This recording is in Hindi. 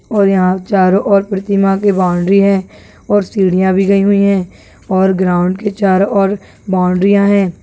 और यहां चारो पृथ्वी माँ की बाउंड्री है और सीढिया भी गयी हुई है और ग्राउंड के चारो ओर बाउंड्री है।